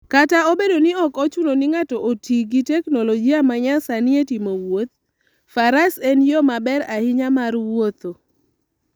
Kata obedo ni ok ochuno ni ng'ato oti gi teknoloji ma nyasani e timo wuoth, faras en yo maber ahinya mar wuotho.